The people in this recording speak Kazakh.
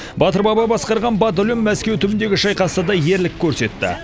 батыр баба басқарған батальон мәскеу түбіндегі шайқаста да ерлік көрсетті